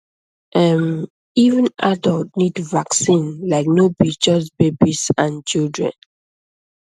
ehm even adult need vaccine like no be just babies and children